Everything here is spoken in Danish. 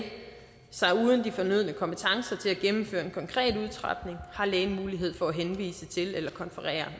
sig uden de fornødne kompetencer til at gennemføre en konkret udtrapning har lægen mulighed for at henvise til eller konferere